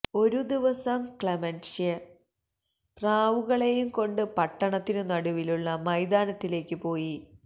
ഒരു ദിവസം ക്ലെമൻഷ്യ പ്രാവുകളെയുംകൊണ്ട് പട്ടണത്തിനു നടുവിലുള്ള മൈതാനത്തിലേക്കു പോയി